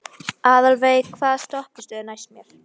Aðalveig, hvaða stoppistöð er næst mér?